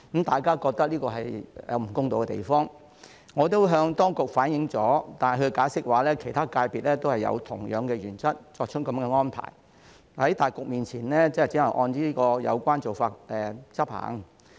大家都覺得這裏有不公道的地方，我也向當局反應過，但當局的解釋是其他界別亦是按同樣的原則，作出這樣的安排，在大局面前，只能按有關做法執行。